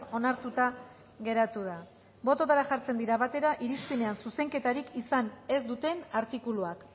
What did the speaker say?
onartuta geratu da bototara jartzen dira batera irizpenean zuzenketarik izan ez duten artikuluak